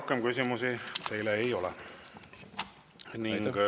Rohkem küsimusi teile ei ole.